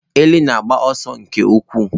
Ele na-agba ọsọ nke ukwuu